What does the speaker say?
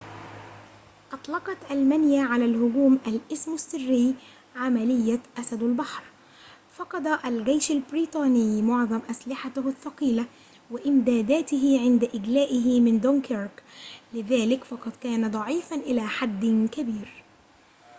أطلقت ألمانيا على الهجوم الاسم السري عملية أسد البحر فَقَد الجيش البريطاني معظم أسلحته الثقيلة وإمداداته عند إجلائه من دونكيرك لذلك فقد كان ضعيفاً إلى حدٍ كبير